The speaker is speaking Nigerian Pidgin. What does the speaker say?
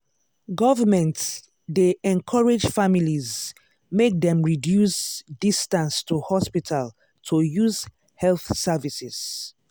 government dey encourage families make dem reduce distance to hospital to use health services.